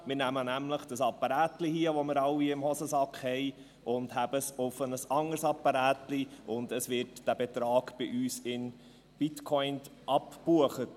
Wir nehmen nämlich dieses Apparätchen, das wir alle in der Hosentasche haben, halten es auf ein anderes Apparätchen, und es wird dieser Betrag bei uns in Bitcoin abgebucht.